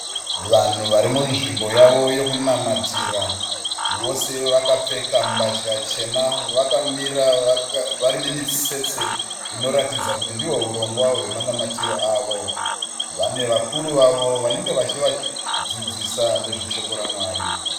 Vanhu vari munzvimbo yavo yokunamatira. Vose vakapfeka mbatya chena. Vakamira vari mumitsetse inoratidza kuti ndiwo hurongwa hwemanamatiro avo. Vane vakuru vavo vanenge vachivadzidzisa nezve shoko raMwari.